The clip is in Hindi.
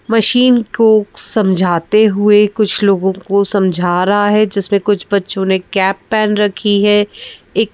मशीन को समझाते हुए कुछ लोगों को समझा रहा है जिसमें कुछ बच्चों ने कैप पहन रखी है एक--